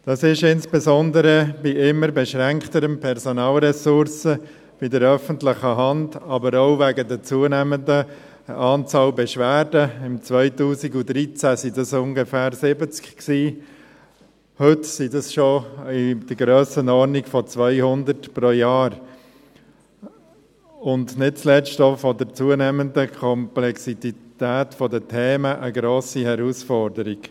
Dies ist insbesondere bei immer beschränkteren Personalressourcen bei der öffentlichen Hand, aber auch wegen der zunehmenden Anzahl Beschwerden – im Jahr 2013 waren es ungefähr 70, heute sind es in der Grössenordnung von 200 pro Jahr – und nicht zuletzt wegen der zunehmenden Komplexität der Themen, eine grosse Herausforderung.